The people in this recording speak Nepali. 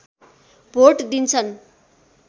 भोट दिन्छन्